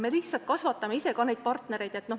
Me kasvatame neid partnereid ka ise.